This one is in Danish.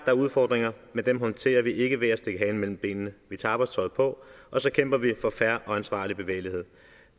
er udfordringer men dem håndterer vi ikke ved at stikke halen mellem benene vi tager arbejdstøjet på og så kæmper vi for fair og ansvarlig bevægelighed